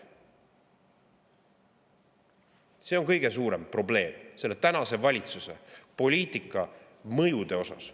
See on kõige suurem probleem praeguse valitsuse poliitika mõjude mõttes.